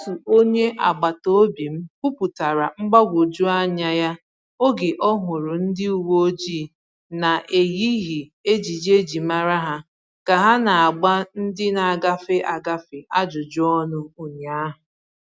Otu onye agbata obi m kwuputara mgbagwoju anya ya oge ọ hụrụ ndi uwe ojii na-eyighị ejiji e ji mara ha ka ha na-agba ndị na-agafe, agafe ajụjụ ọnụ ụnyaahụ.